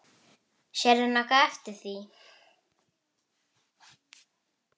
Hann hafði ort það.